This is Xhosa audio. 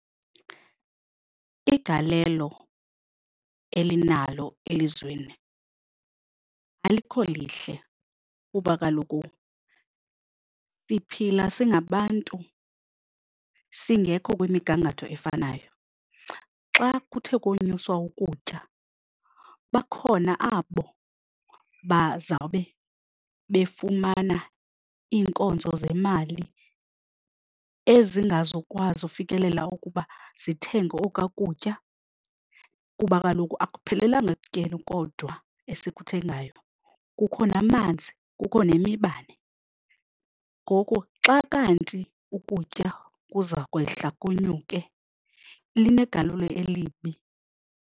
Igalelo elinalo elizweni alikho lihle kuba kaloku siphila singabantu singekho kwimigangatho efanayo. Xa kuthe konyuswa ukutya bakhona abo bazawube befumana iinkonzo zemali ezingazukwazi ukufikelela ukuba zithenge okwa kutya kuba kaloku akuphelelanga ekutyeni kodwa esikuthengayo kukhona amanzi kukho nemibane. Ngoku xa kanti ukutya kuza kwehla kunyuke linegalelo elibi.